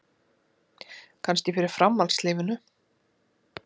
Kannski fyrir framhaldslífinu.